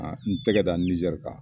N tɛgɛ da Nijɛri kan.